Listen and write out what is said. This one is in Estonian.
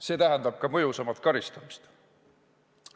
See tähendab ka mõjusamat karistamist.